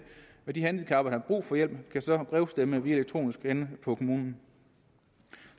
og de handicappede der har brug for hjælp kan så brevstemme elektronisk henne på kommunen